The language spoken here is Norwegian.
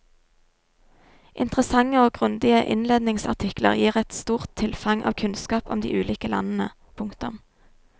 Interessante og grundige innledningsartikler gir et stort tilfang av kunnskap om de ulike landene. punktum